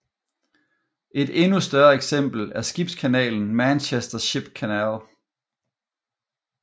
Et endnu større eksempel er skibskanalen Manchester Ship Canal